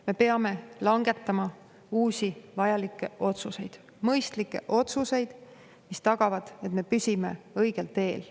Me peame langetama uusi vajalikke otsuseid, mõistlikke otsuseid, mis tagavad, et me püsime õigel teel.